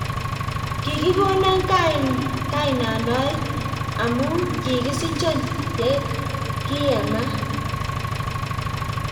Kikikonon kainanoe amu kikisichon ya kiyamat